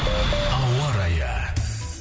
ауа райы